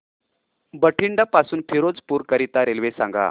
बठिंडा पासून फिरोजपुर करीता रेल्वे सांगा